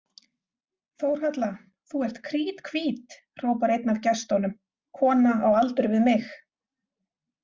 Þórhalla, þú ert kríthvít, hrópar einn af gestunum, kona á aldur við mig.